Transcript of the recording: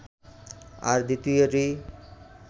আর দ্বিতীয়টি